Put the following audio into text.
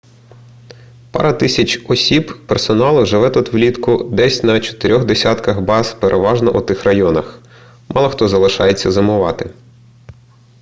пара тисяч осіб персоналу живе тут влітку десь на чотирьох десятках баз переважно у тих районах мало хто залишається зимувати